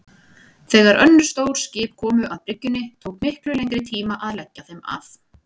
Þegar önnur stór skip komu að bryggjunni tók miklu lengri tíma að leggja þeim að.